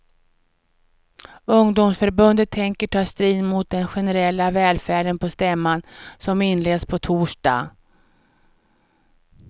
Ungdomsförbundet tänker ta strid mot den generella välfärden på stämman, som inleds på torsdag.